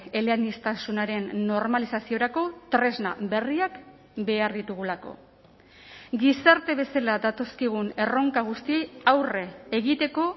eleaniztasunaren normalizaziorako tresna berriak behar ditugulako gizarte bezala datozkigun erronka guztiei aurre egiteko